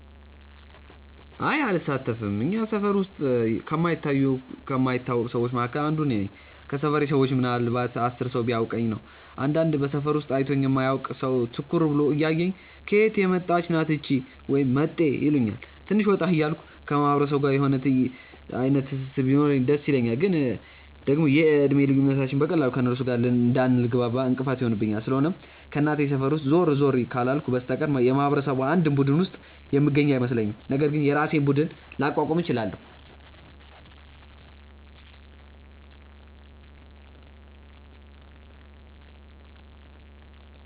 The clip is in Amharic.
አይ አልሳተፍም። እኛ ሰፈር ውስጥ ከማይታዩ ከማይታወቁ ሰዎች መካከል አንዷ እኔ ነኝ። ከሰፈሬ ሰዎች ምናልንባት 10 ሰው ቢያውቀኝ ነው። አንዳንድ በሰፈሩ ውስጥ አይቶኝ የማያውቅ ሰው ትኩር ብሎ እያየኝ "ከየት የመጣች ናት እቺ?" ወይም "መጤ" ይሉኛል። ትንሽ ወጣ ወጣ እያልኩ ከማህበረሰቡ ጋር የሆነ አይነት ትስስር ቢኖረኝ ደስ ይለኛል፤ ግን ደግሞ የእድሜ ልዩነታችንም በቀላሉ ከእነርሱ ጋር እንዳልግባባ እንቅፋት ይሆንብኛል። ስለሆነም ከእናቴ ሰፈር ውስጥ ዞር ዞር ካላልኩ በስተቀር የማህበረሰቡ አንድም ቡድን ውስጥ የምገኝ አይመስለኝም፤ ነገር ግን የራሴን ቡድን ላቋቁም እችላለው።